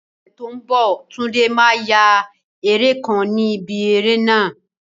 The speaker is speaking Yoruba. Ní ọ̀sẹ̀ tó ń bọ̀, Tunde máa ya eré kan ni ibi eré náà.